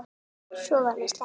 Svo var mér sleppt.